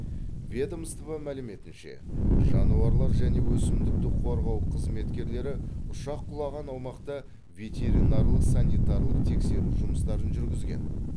ведомство мәліметінше жануарлар және өсімдікті қорғау қызметкерлері ұшақ құлаған аумақта ветеринарлық санитарлық тексеру жұмыстарын жүргізген